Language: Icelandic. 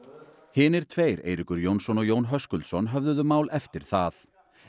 hinir tveir Eiríkur Jónsson og Jón Höskuldsson höfðuðu mál eftir það